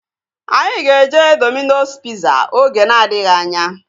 Anyị ga-eje Domino's piza oge na-adịghị anya